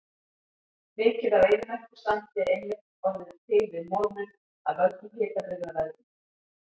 Mikið af eyðimerkursandi er einmitt orðið til við molnun af völdum hitabrigðaveðrunar.